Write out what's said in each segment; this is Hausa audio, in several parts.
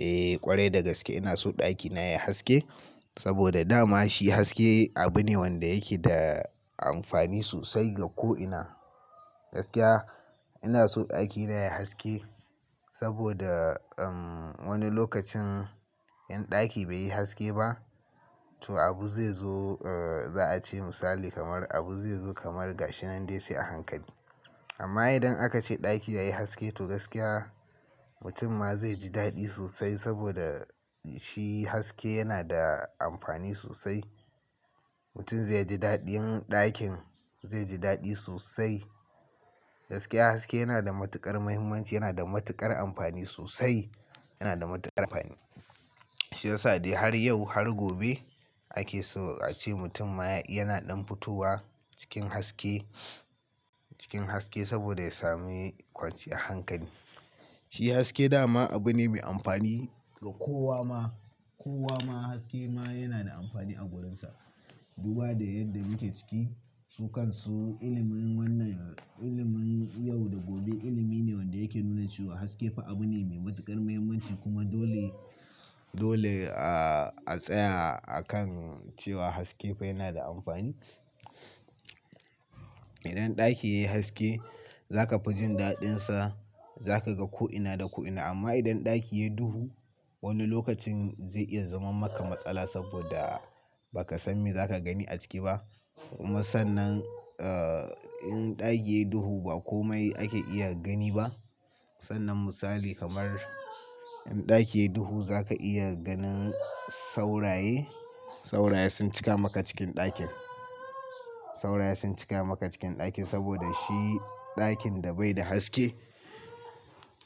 Eh ƙwarai dagaske ina so ɗakina yayi haske, saboda dama shi haske abu ne wanda yake da amfani sosai ga ko ina. Gaskiya ina so ɗakina yayi haske saboda wani lokacin in ɗaki bai yi haske ba, to abu zai zo za a ce misali kamar abu zai zo kamar gashi nan dai sai a hankali. Amma idan aka ce ɗaki yayi haske to gaskiya mutum ma zai ji daɗi sosai saboda shi haske yana da amfani sosai. Mutum zai ji daɗin ɗakin zai ji daɗi sosai. Gaskiya haske yana da matuƙar muhimmanci, yana da matuƙar amfani sosai, yana da matuƙar amfani. Shi yasa dai har yau har gobe ake so a ce mutum ma yana ɗan futowa cikin haske, cikin haske saboda ya sami kwanciyar hankali. Shi haske dama abu ne mai amfani ga kowa ma, kowa ma haske ma yana da amfani a gurinsa. Duba da yadda muke ciki, su kan su ilimin wannan ilimin yau da gobe ilimi ne wanda yake nuna cewa haske fa abu ne mai matuƙar muhimmanci kuma dole, dole a tsaya a kan cewa haske fa yana da amfani. Idan ɗaki yayi haske za ka fi jin daɗinsa, za ka ga ko ina da ko ina. Amma idan ɗaki yayi duhu, wani lokacin zai iya zaman maka matsala saboda ba ka san me za ka gani a ciki ba. Kuma sannan, eh, in ɗaki yayi duhu ba komai ake iya gani ba. Sannan misali kamar in ɗaki yayi duhu za ka iya ganin sauraye, sauraye sun cika maka cikin ɗakin. Sauraye sun cika maka cikin ɗakin saboda shi ɗakin da bai da haske.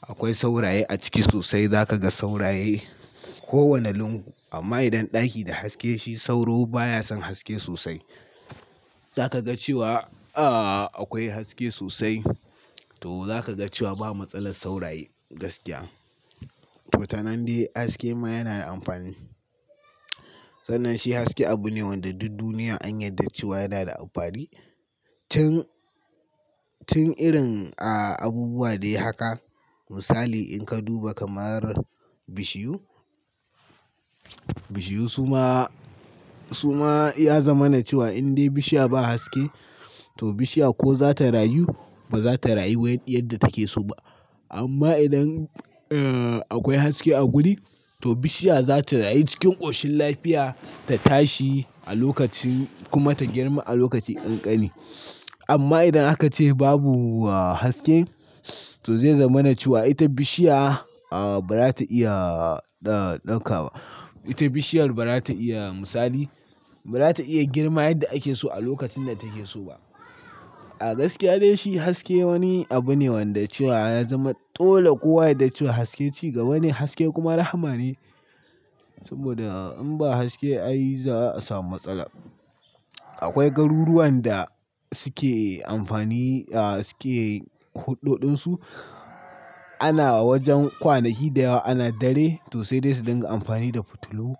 Akwai sauraye a ciki sosai, za ka ga sauraye kowane lungu. Amma idan ɗaki da haske, shi sauro baya son haske sosai. Za ka ga cewa, ah, akwai haske sosai to za ka ga cewa ba matsalar sauraye gaskiya. To tanandai haske ma yana da amfani. Sannan shi haske abu ne wanda duk duniya an yarda cewa yana da amfani. Tun, tun irin abubuwa dai haka misali in ka duba kamar bishiyu. Bishiyu su ma, su ma ya zama na cewa in dai bishiya ba haske to bishiya ko za ta rayu ba za ta rayu yadda take so ba. Amma idan akwai haske a guri, to bishiya za ta rayu cikin ƙoshin lafiya, ta tashi a lokacin kuma ta girma a lokacin ƙanƙani. Amma idan aka ce babu haske, to zai zama na cewa ita bishiya ba za ta iya dauka ba. Ita bishiyar ba za ta iya misali, ba za ta iya girma yadda ake so a lokacin da take so ba. A gaskiya dai shi haske wani abu ne wanda cewa ya zama dole kowa yadda cewa haske cigaba ne, haske kuma rahma ne. Saboda in ba haske a yi za a samu matsala. Akwai garuruwan da suke amfani, ah suke huɗɗoɗin su. Ana wajen kwanaki da yawa ana dare to sai dai su dinga amfani da fitilu.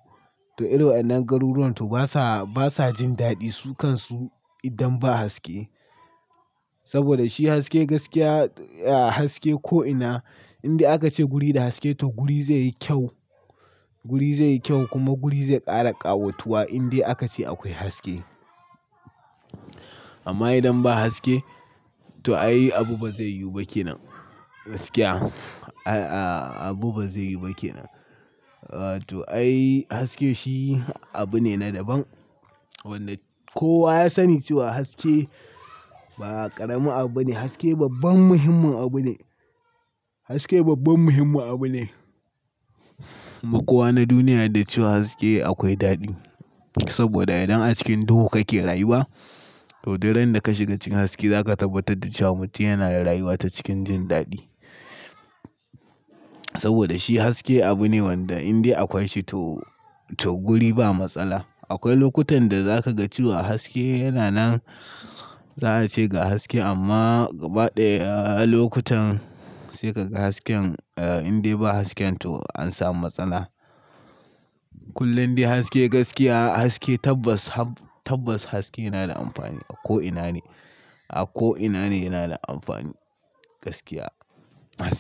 To irin wannan garuruwan to basa, basa jin daɗi su kan su idan ba haske. Saboda shi haske gaskiya, haske ko ina in dai aka ce guri da haske to guri zai yi kyau. Guri zai yi kyau kuma guri zai ƙara ƙawatuwa in dai aka ce akwai haske. Amma idan ba haske, to ai abu ba zai yiwu ba kenan gaskiya. Abu ba zai yiwu ba kenan. To ai haske shi abu ne na daban wanda kowa ya sani cewa haske ba ƙarami abu ne, haske babban muhimmin abu ne. Hasake babban muhimmin abu ne ma kowa na duniya da cewa haske akwai daɗi. Saboda idan a cikin duhu kake rayuwa, to duk randa ka shiga cikin haske za ka tabbatar da cewa mutum yana da rayuwa ta cikin jin daɗi. Saboda shi haske abu ne wanda in dai akwai shi to, to guri ba matsala. Akwai lokutan da za ka ga cewa haske yana nan za a ce ga haske amma baɗi lokutan sai ka ga hasken in dai ba hasken to an samu matsala. Kullum dai haske gaskiya haske tabbas, tabbas haske yana da amfani a ko ina ne, a ko ina ne yana da amfani gaskiya haske.